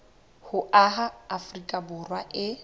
ho aha afrika borwa e